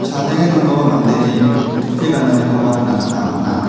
chadenge donggipa mandeni tupi gananikoba nikna gita man·a.